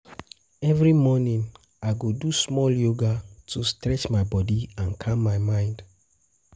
Every morning, I go do small yoga to stretch my body and calm my mind.